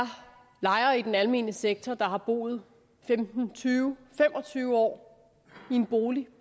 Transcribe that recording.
lejere i den almene sektor der har boet femten tyve fem og tyve år i en bolig og